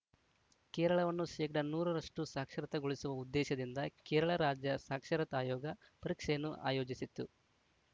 ಕೇರಳವನ್ನು ಶೇಕಡಾ ನೂರ ರಷ್ಟುಸಾಕ್ಷರತೆಗೊಳಿಸುವ ಉದ್ದೇಶದಿಂದ ಕೇರಳ ರಾಜ್ಯ ಸಾಕ್ಷರತಾ ಆಯೋಗ ಪರೀಕ್ಷೆಯನ್ನು ಆಯೋಜಿಸಿತ್ತು